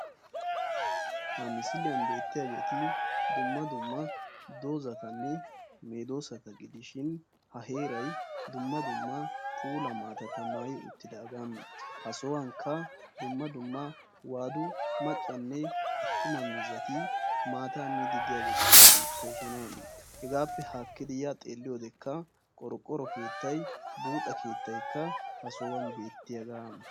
Ha misiliyan beettiyageeti dumma dumma doozzatanne medoosata gidishin ha heeray dumma dumma puulaa maatata maayi uttidaagaa, ha sohuwankka dumma dumma waadu maccanne attuma miizzati maataa miiddi diyageetikka beettoosona. Hegaappe haakkidi yaa xeeliyode qorqqoro keettay buuxxa keettataykka ha sohuwan beettiyagaa.